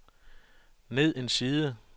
ned en side